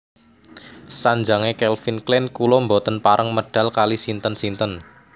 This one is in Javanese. Sanjange Calvin Klein kula mboten pareng medal kalih sinten sinten